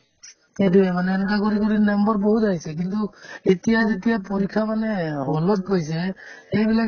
সেইটোয়ে মানে এনেকুৱা কৰি কৰি নম্বৰ বহুত আহিছে কিন্তু এতিয়া যেতিয়া পৰীক্ষা মানে hall ত গৈছে এইবিলাক